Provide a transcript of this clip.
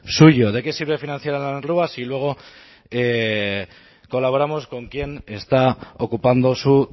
suyo de qué sirve financiar a la si luego colaboramos con quien está ocupando su